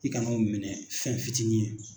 I kana o minɛ fɛn fitini ye.